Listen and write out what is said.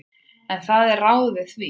En það eru ráð við því.